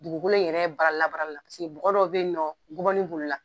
Dugukolo in yɛrɛ baara labaarali la paseke mɔgɔ dɔw b'i nɔ u dɔgɔnin bolila.